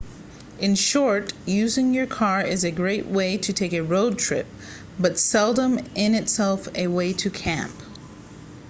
in short using your car is a great way to take a road trip but seldom in itself a way to camp